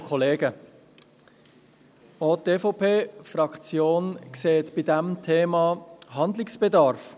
Auch die EVP-Fraktion sieht bei diesem Thema Handlungsbedarf.